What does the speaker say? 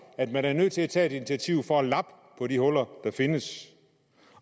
at man er nødt til at tage et initiativ for at lappe på de huller der findes